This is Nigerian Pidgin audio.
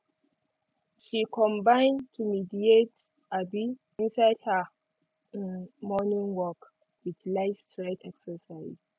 she combine to mediate um inside her um morning work with light stretch exercises